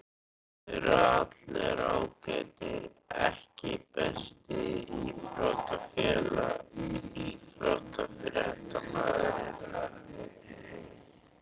Þeir eru allir ágætir EKKI besti íþróttafréttamaðurinn?